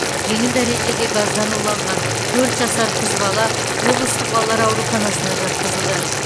жеңіл дәрежеде газдан уланған төрт жасар қыз бала облыстық балалар ауруханасына жатқызылды